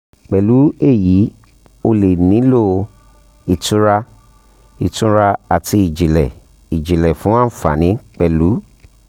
pẹ̀lú èyí o lè nílò um ìtura ìtura àti ìjìnlẹ̀ ìjìnlẹ̀ fún àǹfààní pẹ́lú